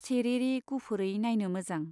सेरेरे गुफुरै नाइनो मोजां।